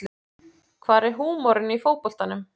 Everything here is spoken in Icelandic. Hvar er húmorinn í fótboltanum